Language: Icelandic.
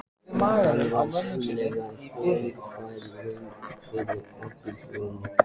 Þetta var sannarlega þungbær raun fyrir okkur hjónin.